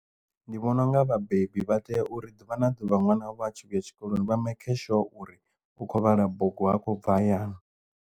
Ndi vhona unga vhabebi vha tea uri ḓuvha na ḓuvha ṅwana wavho atshi vhuya tshikoloni vha maker sure uri u kho vhala bugu ha khou bva hayani.